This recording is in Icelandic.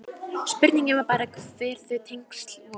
Spurningin var bara hver þau tengsl voru.